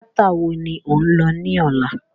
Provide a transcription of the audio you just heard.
Tíátà wo ni ò ń lọ ní ọ̀la?